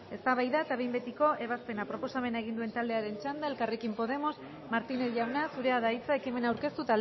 eztabaida eta behin betiko ebazpena proposamena egin duen taldearen txanda elkarrekin podemos martínez jauna zurea da hitza ekimena aurkeztu